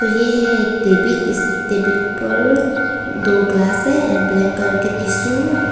यह है एक टेबिल इस टेबिल पर दो ग्लास है एंड ब्लैक कलर के टिश्यू --